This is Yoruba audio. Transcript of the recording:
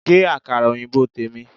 Gé Àkàrà òyìnbó tèmi!